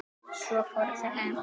Svo fóru þeir heim.